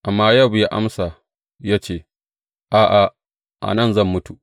Amma Yowab ya amsa ya ce, A’a, a nan zan mutu.